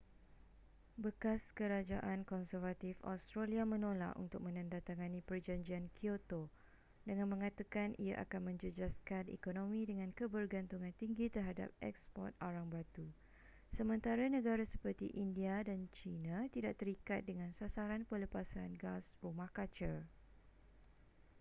bekas kerajaan konservatif australia menolak untuk menandatangani perjanjian kyoto dengan mengatakan ia akan menjejaskan ekonomi dengan kebergantungan tinggi terhadap eksport arang batu sementara negara seperti india dan china tidak terikat dengan sasaran pelepasan gas rumah kaca